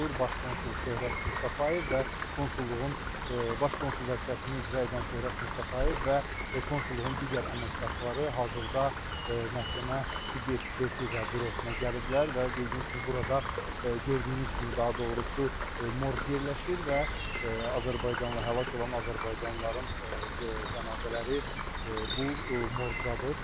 Baş Konsul Şöhrət Mustafayev və Konsulluğun, Baş Konsul vəzifəsini icra edən Şöhrət Mustafayev və Konsulluğun digər əməkdaşları hazırda məhkəmə Tibbi Ekspertiza Bürosuna gəliblər və bildiyiniz kimi burada gördüyünüz kimi daha doğrusu morq yerləşir və həlak olan azərbaycanlıların cənazələri bu morqdadır.